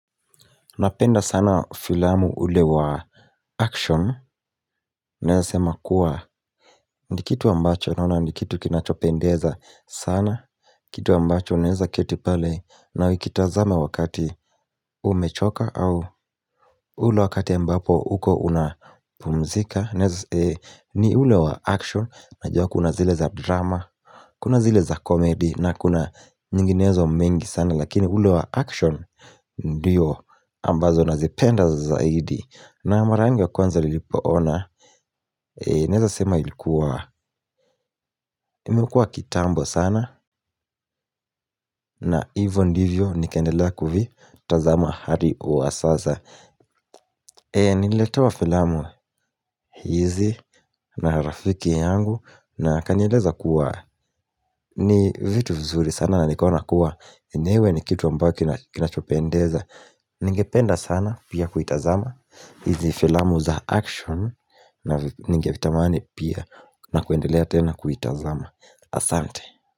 Napenda sana filamu ule wa action, Naweza sema kuwa ni kitu ambacho naona ni kitu kinachopendeza sana Kitu ambacho naweza keti pale, na nikitazama wakati umechoka au ule wakati ambapo uko unapumzika Naweza ni ule wa action, najua kuna zile za drama Kuna zile za komedi, na kuna nyinginezo mingi sana lakini ule wa action ndiyo ambazo nazipenda zaidi na mara yangu ya kwanza lilipoona Neza sema ilikuwa imekua kitambo sana na hivyo ndivyo nikaendelea kufi tazama hadi kuwa sasa. Nililetewa filamu hizi na rafiki yangu na akanieleza kuwa ni vitu vizuri sana na nikaona kuwa yenyewe ni kitu ambacho kinachopendeza Ningependa sana pia kuitazama hizi filamu za action na Ningetamani pia na kuendelea tena kuita zama, Asante.